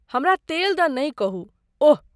हमरा तेल दऽ नै कहू, ओह।